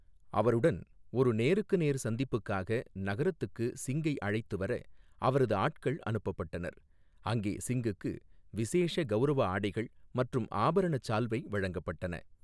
அவருடன் ஒரு நேருக்கு நேர் சந்திப்புக்காக நகரத்துக்கு சிங்கை அழைத்து வர அவரது ஆட்கள் அனுப்பப்பட்டனர், அங்கே சிங்குக்கு விசேஷ கௌரவ ஆடைகள் மற்றும் ஆபரணச் சால்வை வழங்கப்பட்டன.